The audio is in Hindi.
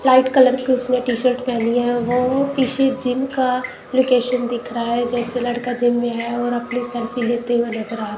लाइट कलर उसने टी शर्ट पहनी है वो किसी जिम का दिख रहा है जैसे लड़का जिम में है और अपने सर पे ये तेल बेच रहा--